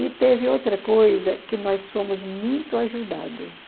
E teve outra coisa, que nós somos muito ajudadas.